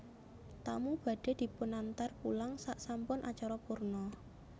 Tamu badhe dipunantar pulang saksampun acara purna